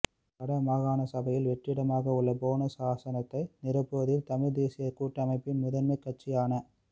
வட மாகாண சபையில் வெற்றிடமாகவுள்ள போனஸ் ஆசனத்தை நிரப்புவதில் தமிழ்த் தேசியக் கூட்டமைப்பின் முதன்மை கட்சியான